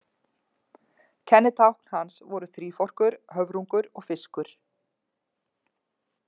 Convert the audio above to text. Kennitákn hans voru þríforkur, höfrungur og fiskur.